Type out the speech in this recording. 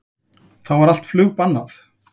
Þá er allt flug bannað